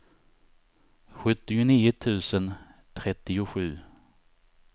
sjuttionio tusen trettiosju